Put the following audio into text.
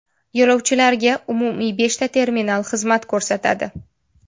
Yo‘lovchilarga umumiy beshta terminal xizmat ko‘rsatadi.